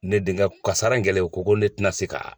Ne denkɛ kasara in kɛlen u ko ko ne tɛna se ka